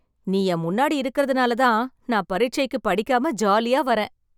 நீ என் முன்னாடி இருக்கிறதனால ,தான் நான் பரிச்சைக்கு படிக்காம ஜாலியா வரேன்